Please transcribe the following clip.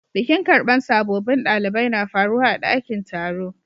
Bikin karban sabobin dalibai na faruwa a'dakin taro.